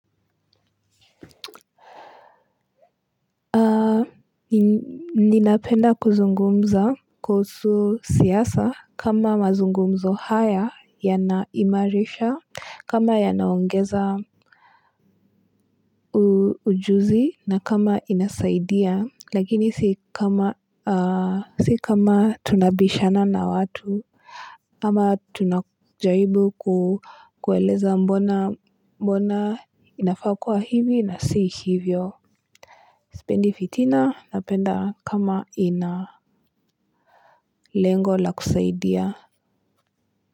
Ninapenda kuzungumza kuhusu siyasa kama mazungumzo haya yanaimarisha. Kama ya naongeza ujuzi na kama inasaidia. Lakini si kama tunabishana na watu ama tunajaribu kuweleza mbona inafakua hivi na si hivyo. Spendi fitina napenda kama ina lengo la kusaidia.